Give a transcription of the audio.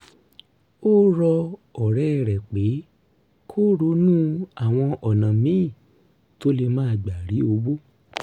ó rọ ọ̀rẹ́ rẹ̀ pé kó ronú àwọn ọ̀nà míì tó lè gbà rí owó